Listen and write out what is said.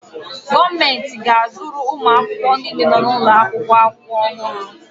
Gọọmentị ga-azụrụ ụmụ akwụkwọ niile nọ n'ụlọakwụkwọ akwụkwọ ọhụrụ.